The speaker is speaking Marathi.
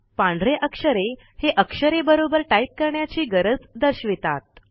पांढरे अक्षरे अक्षरे बरोबर टाईप करण्याची गरज दर्शवितात